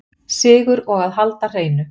Sigur og að halda hreinu